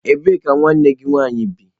Ebee ka nwanne gị nwaanyị bi?